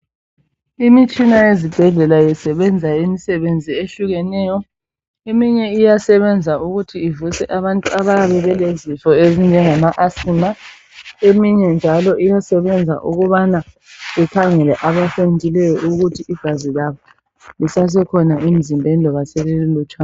Imitshina yezibhedlela isebenza imisebenzi ehlukeneyo eminye iyasebenza ukuthi ivuse abantu abayabe belezifo ezinjengamaAsthma. Eminye njalo iyasebenza ukubana ikhangele abaqulekileyo ukuthi igazi labo lisasekhona emzimbeni loba selililutshwa.